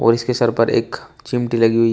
और इसके सर पर एख चिमटी लगी हुई--